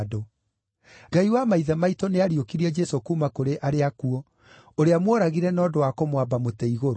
Ngai wa maithe maitũ nĩariũkirie Jesũ kuuma kũrĩ arĩa akuũ, ũrĩa mworagire na ũndũ wa kũmwamba mũtĩ-igũrũ.